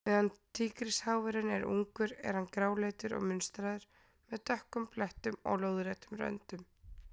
Meðan tígrisháfurinn er ungur er hann gráleitur og munstraður, með dökkum blettum og lóðréttum röndum.